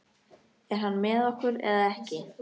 Er hann með okkur eða ekki?